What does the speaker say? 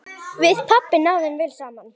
Við pabbi náðum vel saman.